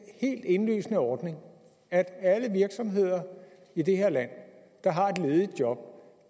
helt indlysende ordning at alle virksomheder i det her land der har et ledigt job